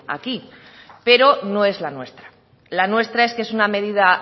aquí pero no es la nuestra la nuestra es que es una medida